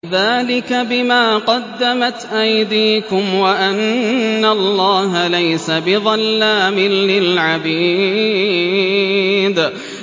ذَٰلِكَ بِمَا قَدَّمَتْ أَيْدِيكُمْ وَأَنَّ اللَّهَ لَيْسَ بِظَلَّامٍ لِّلْعَبِيدِ